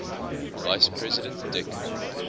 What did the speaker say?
vice president dick